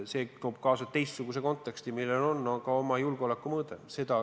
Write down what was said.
See toob kaasa teistsuguse konteksti, millel on ka oma julgeolekumõõde.